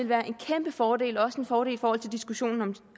være en kæmpefordel og også en fordel i forhold til diskussionen